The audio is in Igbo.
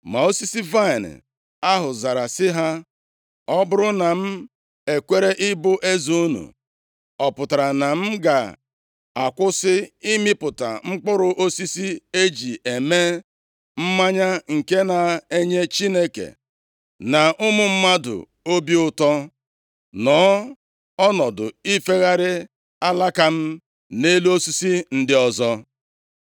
“Ma osisi vaịnị ahụ zara sị ha, ‘Ọ bụrụ na m ekwere ịbụ eze unu, ọ pụtara na m ga-akwụsị ịmịpụta mkpụrụ osisi e ji eme mmanya nke na-enye Chineke na ụmụ mmadụ obi ụtọ, nọọ ọnọdụ ifegharị alaka m nʼelu osisi ndị ọzọ?’